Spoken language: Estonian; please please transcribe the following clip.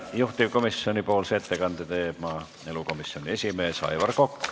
Juhtivkomisjoni ettekande teeb maaelukomisjoni esimees Aivar Kokk.